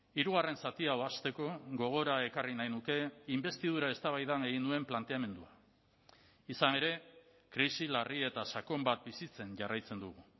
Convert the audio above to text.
hirugarren zati hau hasteko gogora ekarri nahi nuke inbestidura eztabaidan egin nuen planteamendua izan ere krisi larri eta sakon bat bizitzen jarraitzen dugu